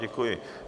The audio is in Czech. Děkuji.